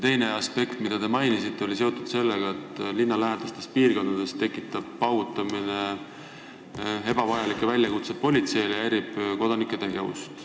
Teine aspekt, mida te mainisite, oli seotud sellega, et linnalähedastes piirkondades tekitab paugutamine ebavajalikke politsei väljakutseid ja häirib kodanike tegevust.